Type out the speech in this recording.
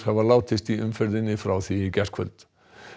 hafa látist í umferðinni frá því í gærkvöld